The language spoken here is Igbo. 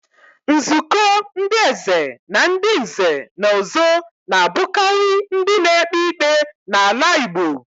Nzuko ndi Eze Na ndi nze na ozo na-abukari ndi na-ekpe ikpe n'ala Igbo.